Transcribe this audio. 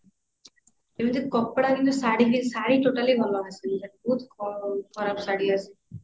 ଏମିତି କପଡା କିନ୍ତୁ ଶାଢ଼ୀ ବି ଶାଢ଼ୀ totally ଭଲ ଆସୁନି ତାର ବହୁତ ଖରାପ ଶାଢ଼ୀ ଆସେ